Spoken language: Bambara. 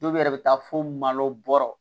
Dɔw yɛrɛ bɛ taa fo malo bɔra